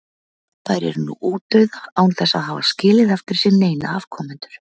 Þær eru nú útdauða án þess að hafa skilið eftir sig neina afkomendur.